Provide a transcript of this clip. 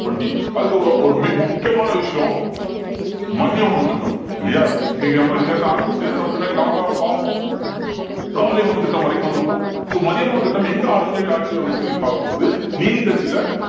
twenty அதுக்கப்புறம் ஒரு மி~ முக்கியமான விஷயம் மதிய உணவுத் திட்டம் இல்லையா இன்னைக்கு நம்ம இங்க இருந்து ஆரம்பிச்சு நம்ம பின்னாடி last ஆ பார்ப்போம் காலை உணவு திட்டம் வரைக்கும் வந்திருப்போம் so மதிய உணவு திட்டம் எங்க originate ஆச்சு அப்படின்னு சொல்லி பார்க்கும் போது நீதிக்கட்சியில